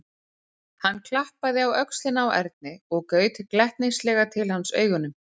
Hann klappaði á öxlina á Erni og gaut glettnislega til hans augunum.